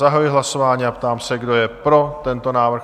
Zahajuji hlasování a ptám se, kdo je pro tento návrh?